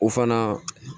O fana